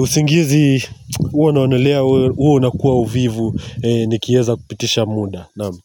usingizi huwa naonelea huwa unakuwa uvivu Nikieza kupitisha muda Naam.